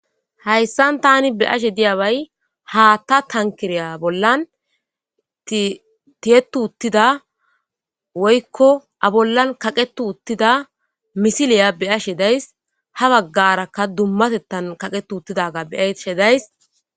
hayssan tani beashe diyabay haatta tankiriya bollan tiyetu uttida woykko a bollan kaqetu uttida misiliya beyashe days ha baggarakka dummatettan kaqetu uttidaga beashe days